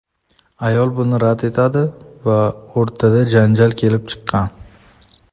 Ayol buni rad etadi va o‘rtada janjal kelib chiqqan.